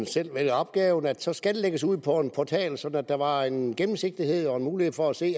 selv vælger opgaven at det så skal lægges ud på en portal sådan at der var en gennemsigtighed og en mulighed for at se